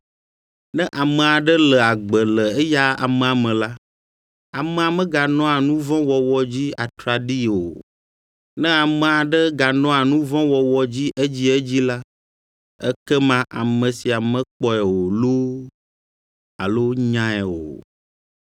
Ne ame aɖe le agbe le eya amea me la, amea meganɔa nu vɔ̃ wɔwɔ dzi atraɖii o. Ne ame aɖe ganɔa nu vɔ̃ wɔwɔ dzi edziedzi la, ekema ame sia mekpɔe o loo, alo nyae o.